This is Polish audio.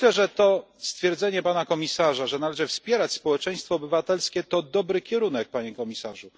Myślę, że to stwierdzenie Pana Komisarza, że należy wspierać społeczeństwo obywatelskie, to dobry kierunek, Panie Komisarzu.